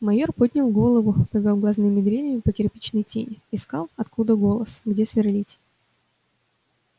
майор поднял голову повёл глазными дрелями по кирпичной тени искал откуда голос где сверлить